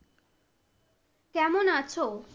কেমন আছো?